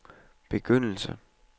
begyndelse